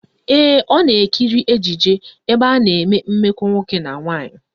Ee, ọ na-ekiri ejije ebe a na-eme mmekọ nwoke na nwaanyị.